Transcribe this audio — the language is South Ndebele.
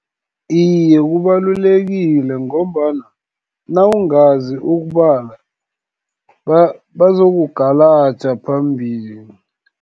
Iye, kubalulekile, ngombana nawungazi ukubala, bazokugalaja phambili.